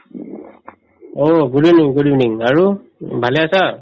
অ, good evening good evening আৰু um ভালে আছা